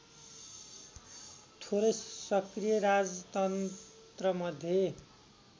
थोरै सक्रिय राजतन्त्रमध्ये